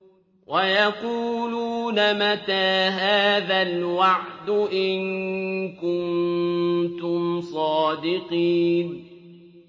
وَيَقُولُونَ مَتَىٰ هَٰذَا الْوَعْدُ إِن كُنتُمْ صَادِقِينَ